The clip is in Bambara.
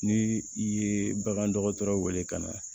Ni i ye bagan dɔgɔtɔrɔ wele ka na